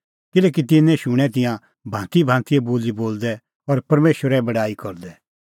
किल्हैकि तिन्नैं शूणैं तिंयां भांतीभांतीए बोली बोलदै और परमेशरे बड़ाई करदै